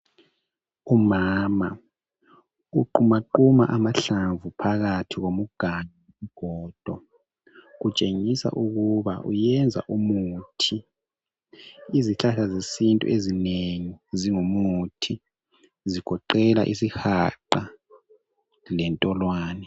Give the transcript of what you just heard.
Umama uqumaquma amahlamvu phakathi komganu wesigodo. Kutshengisa ukuba wenza umuthi. Izihlahla zesiNtu ezinengi zingumuthi zigoqela isihaqa lentolwane.